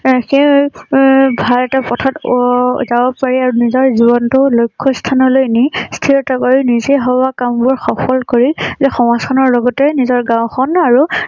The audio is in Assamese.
অ সেই অ ভাৰতৰ পথত অ যাব পাৰি আৰু নিজৰ জীৱন টো লক্ষস্থনলৈ নি স্থিৰতা নিজেই ভবা কাম বোৰ সফল কৰি যে সমাজ খনৰ লগতে নিজৰ গাওঁ খন আৰু